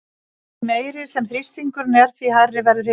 Því meiri sem þrýstingurinn er því hærri verður hitinn.